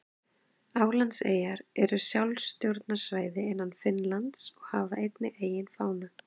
Álandseyjar eru sjálfstjórnarsvæði innan Finnlands og hafa einnig eigin fána.